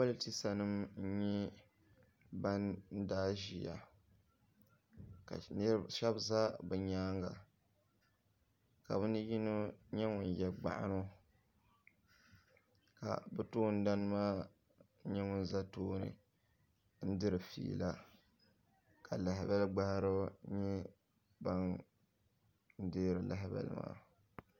Politisa nima nyɛ bani daa ziya ka shɛba za bi yɛanga ka bini yino nyɛ ŋuni ye gbaɣino ka bi tooni dana maa nyɛ ŋuni za tooni n diri fiila ka lahabali gbahiriba nyɛ bini dɛɛri lahabali maa.